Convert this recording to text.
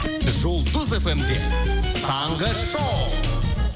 жұлдыз фм де таңғы шоу